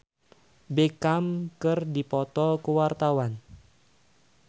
Ira Wibowo jeung Victoria Beckham keur dipoto ku wartawan